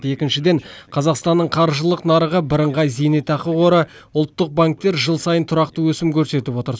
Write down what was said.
екіншіден қазақстанның қаржылық нарығы бірыңғай зейнетақы қоры ұлттық банктер жыл сайын тұрақты өсім көрсетіп отыр